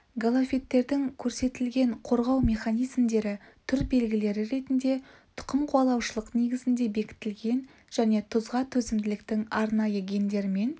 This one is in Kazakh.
галофиттердің көрсетілген қорғау механизмдері түр белгілері ретінде тұқым қуалаушылық негізінде бекітілген және тұзға төзімділіктің арнайы гендерімен